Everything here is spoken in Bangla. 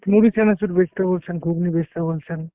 মুড়ি চানাচুর বেঁচতে বলছেন, ঘুগনি বেঁচতে বলছেন।